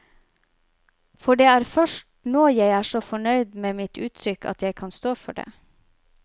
For det er først nå jeg er så fornøyd med mitt uttrykk at jeg kan stå for det.